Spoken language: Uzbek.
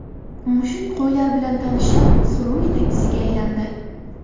Mushuk qo‘ylar bilan tanishib, suruv yetakchisiga aylandi.